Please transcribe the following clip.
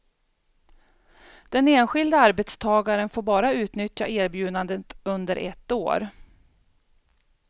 Den enskilde arbetstagaren får bara utnyttja erbjudandet under ett år.